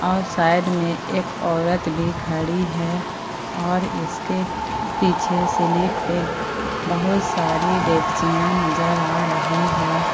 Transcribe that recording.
और साइड में एक औरत भी खड़ी हुई है इसके पीछे स्लिप पे बहुत सारी डेकचिया नजर आ रही हैं।